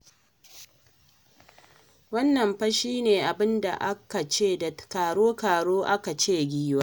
Wannan fa shi ne abin da akan ce da karo-karo an ka ce "giwa".